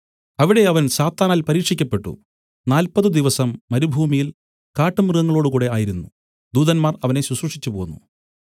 അവിടെ അവൻ സാത്താനാൽ പരീക്ഷിക്കപ്പെട്ടു നാല്പതു ദിവസം മരുഭൂമിയിൽ കാട്ടുമൃഗങ്ങളോടുകൂടെ ആയിരുന്നു ദൂതന്മാർ അവനെ ശുശ്രൂഷിച്ചു പോന്നു